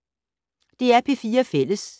DR P4 Fælles